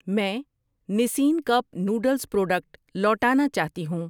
میں Nissin cup noodles product لوٹانا چاہتی ہوں